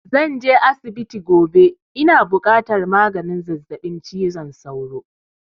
Zan je asibiti gobe, ina buƙatar maganin zazzaɓi cizon sauro